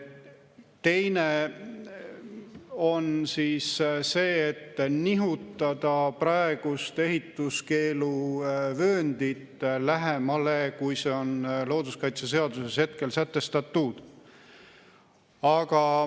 Teine on see, et nihutada praegust ehituskeeluvööndit lähemale, kui see on looduskaitseseaduses sätestatud.